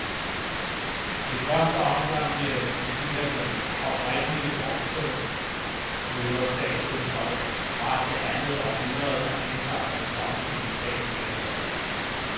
I første omgang bliver det en kopi af den oprindelige bronzerytterstatue, fra det andet århundrede, der indtager den tomme piedestal midt på pladsen.